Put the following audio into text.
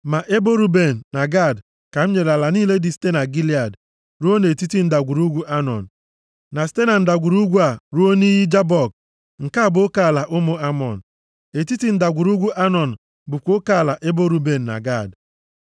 Ma Ebo Ruben na Gad ka m nyere ala niile dị site na Gilead ruo nʼetiti ndagwurugwu Anọn, na site na ndagwurugwu a ruo nʼiyi Jabọk, nke bụ oke ala ụmụ Amọn. Etiti ndagwurugwu Anọn bụkwa oke ala ebo Ruben na Gad.